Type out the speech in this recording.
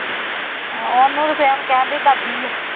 ਉਹਨੂੰ ਤੇ same ਕਹਿੰਦੇ ਦਾਦੀ ਆ